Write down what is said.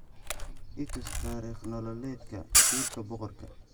i tus taariikh nololeedka wiilka boqorka